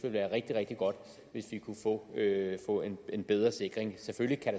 være rigtig rigtig godt hvis vi kunne få en bedre sikring selvfølgelig kan